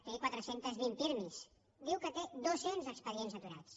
té quatre cents i vint pirmi diu que té dos cents expedients aturats